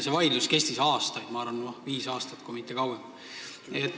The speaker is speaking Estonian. See vaidlus kestis aastaid, ma arvan, et viis aastat, kui mitte kauem.